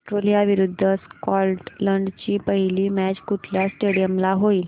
Australia विरुद्ध Scotland ची पहिली मॅच कुठल्या स्टेडीयम ला होईल